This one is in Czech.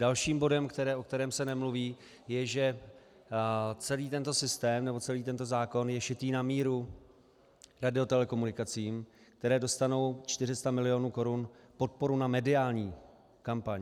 Dalším bodem, o kterém se nemluví, je že celý tento systém, nebo celý tento zákon je šitý na míru radiotelekomunikacím, které dostanou 400 milionů korun podporu na mediální kampaň.